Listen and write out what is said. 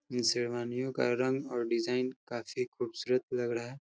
ये शेरवानियों का रंग और डिज़ाइन काफी खूबसूरत लग रहा हैं।